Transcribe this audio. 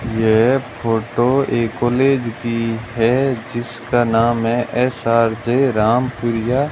यह फोटो एक कॉलेज की है जिसका नाम है एस_आर_जे रामपुरिया --